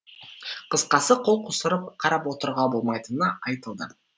қысқасы қол қусырып қарап отыруға болмайтыны айтылды